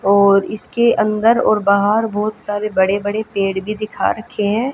और इस के अंदर और बाहर बहोत सारे बड़े-बड़े पेड़ भी दिखा रखे है।